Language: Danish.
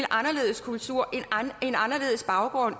anderledes kultur en anderledes baggrund